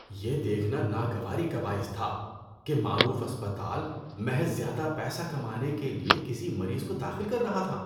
یہ دیکھنا ناگواری کا باعث تھا کہ معروف اسپتال محض زیادہ پیسہ کمانے کے لیے کسی مریض کو داخل کر رہا تھا۔